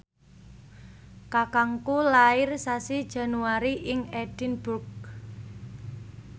kakangku lair sasi Januari ing Edinburgh